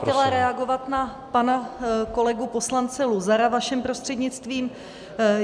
Já jsem chtěla reagovat na pana kolegu poslance Luzara vaším prostřednictvím.